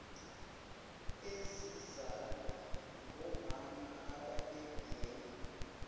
ezizalwa ngomama abebebhema